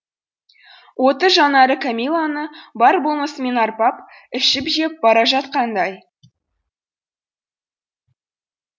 отты жанары кәмиләні бар болмысымен арбап ішіп жеп бара жатқандай